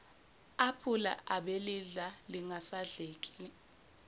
aphula abelidla lingasadleki